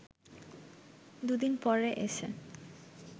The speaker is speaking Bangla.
দু’দিন পরে এসে